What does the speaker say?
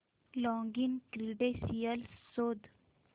login credentials शोध